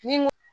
Ni n ko